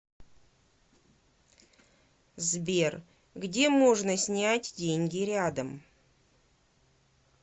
сбер где можно снять деньги рядом